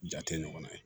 Ja tɛ ɲɔgɔn na ye